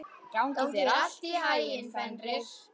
Gangi þér allt í haginn, Fenrir.